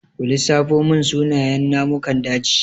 Ku lissafo mun sunayen namukan daji?